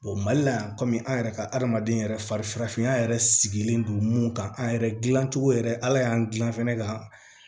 mali la yan komi an yɛrɛ ka adamaden yɛrɛ fari farafinya yɛrɛ sigilen don mun kan an yɛrɛ dilancogo yɛrɛ ala y'an gilan fɛnɛ ka